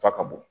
Fa ka bɔ